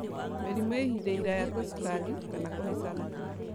Mĩrimũ ya ihinda iraya ta cukari kana kũhaica thakame